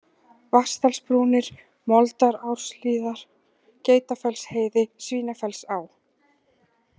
Vatnsdalsbrúnir, Moldaráshlíðar, Geitafellsheiði, Svínafellsá